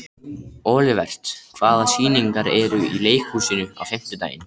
Olivert, hvaða sýningar eru í leikhúsinu á fimmtudaginn?